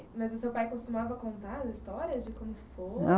Mas o seu pai costumava contar as histórias de quando ficou?